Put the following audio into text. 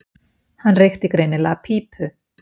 Hann reykti greinilega pípu.